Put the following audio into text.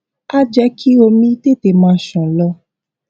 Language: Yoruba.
á jé kí omi tètè máa ṣàn lọ